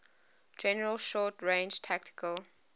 general short range tactical